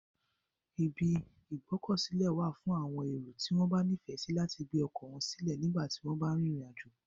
Ibi ìgbókòsí wa fún àwon èrò tí wón nífèsí láti gbé okò won sílè nígbàtí won ba n rìnrìn àjò